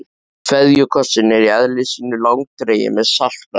KVEÐJUKOSSINN er í eðli sínu langdreginn með saltbragði.